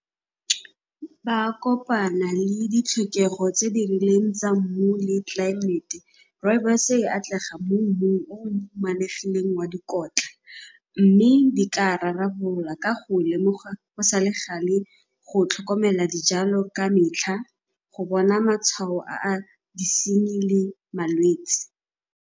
Ba kopana le ditlhokego tse di rileng tsa mmu le tlelaemete. Rooibos-e e atlega mo mmung o o humanegileng wa dikotla mme di tla rarabololwa ka go lemogwa go sa le gale go tlhokomela dijalo ka metlha, go bona matshwao a disenyi le malwetsi.